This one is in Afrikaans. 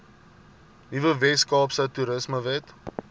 nuwe weskaapse toerismewet